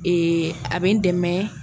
Ee a bɛ n dɛmɛ